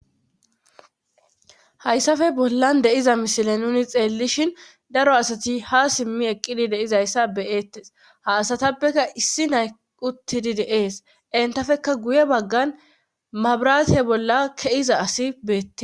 Hayssafe bollan deiza mishile nuni xeellishin daro asati ha simmi eqqidi deizayssa beyeettes ha asatappeka issi nay uttidi deees entafekka guye baggan mabraate bolla keiza asi beette